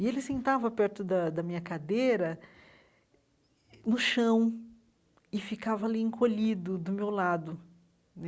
E ele sentava perto da da minha cadeira, no chão, e ficava ali encolhido, do meu lado né.